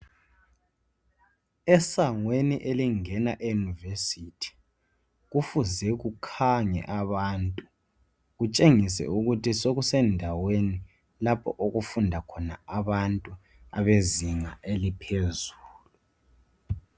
Esangweni elingena eYunivesi kufuze kukhange abantu kutshengise ukuthi sokusendaweni lapho okufunda khona abantu abezinga eliphezulu.